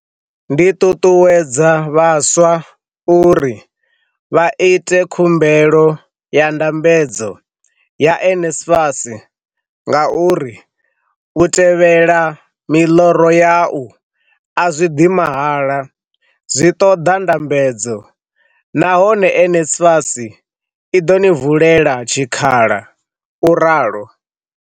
Ndi ṱuṱuwedza vhaswa uri vha ite khumbelo ya ndambedzo ya NSFAS ngauri u tevhela miḽoro yau a zwi ḓi mahala, zwi ṱoḓa ndambedzo, nahone NSFAS i ḓo ni valela tshikhala, u ralo.